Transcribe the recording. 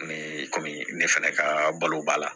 Ni kɔmi ne fɛnɛ kaa balo b'a la